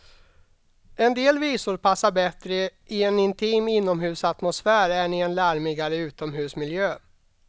En del visor passar bättre i en intim inomhusatmosfär än i en larmigare utomhusmiljö.